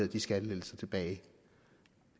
de skattelettelser tilbage jeg